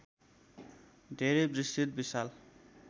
धेरै विस्तृत विशाल